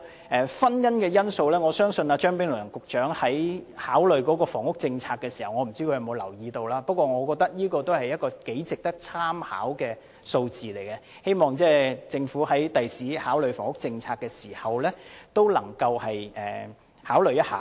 我不知道張炳良局長考慮房屋政策時，有否留意這個婚姻因素，但我覺得這是一組頗值得參考的數字，希望政府將來考慮房屋政策時，能夠考慮一下。